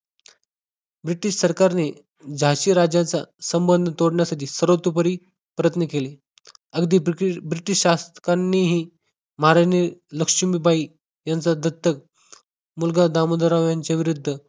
British सरकारने जाशी राज्याच्या संबंध तोडण्यासाठी सर्व प्रयत्न केले अगदी दुखी ब्रिटिश शासकांनीही महाराणी लक्ष्मीबाई यांच्या दत्तक मुलगा दामोदर यांच्या विरुद्ध